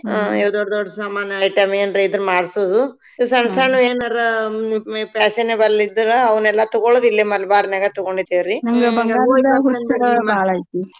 ಇವ್ ದೊಡ್ ದೊಡ್ ಸಾಮಾನ item ಏನರ ಇದ್ರೆ ಮಾಡ್ಸೋದು ಸಣ್ಸಣ್ವ್ ಏನರ ಮ್~ ಮೆ fashionable ಇದ್ರ ಅವ್ನೆಲ್ಲಾ ತಗೋಳೊದಿಲ್ಲೇ ಮಲ್ಬಾರ್ನಾಗ ತಗೊಂಡ್ತೇವ್ರಿ